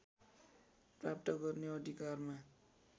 प्राप्त गर्ने अधिकारमा